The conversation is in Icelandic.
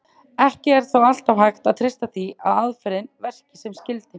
Ekki er þó alltaf hægt að treysta því að aðferðin verki sem skyldi.